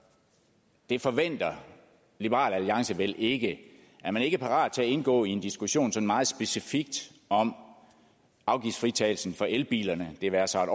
det forventer liberal alliance vel ikke er man ikke parat til at indgå i en diskussion sådan meget specifikt om afgiftsfritagelsen for elbilerne det være sig